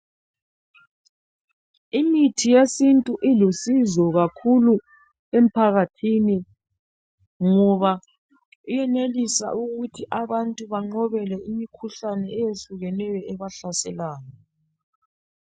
Imithi yesintu ilusizo kakhulu emphakathini ngoba iyenelisa ukuthi abantu banqobe le imikhuhlane eyehlukeneyo ebahlaselayo.